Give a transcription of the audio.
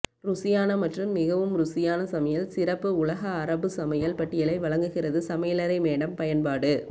ருசியான மற்றும் மிகவும் ருசியான சமையல் சிறப்பு உலக அரபு சமையல் பட்டியலை வழங்குகிறது சமையலறை மேடம் பயன்பாடு